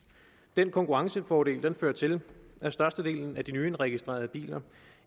den konkurrencefordel fører til at størstedelen af de nyindregistrerede biler